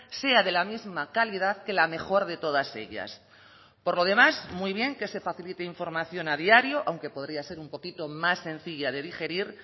sea de la misma calidad que la mejor de todas ellas por lo demás muy bien que se facilite información a diario aunque podría ser un poquito más sencilla de digerir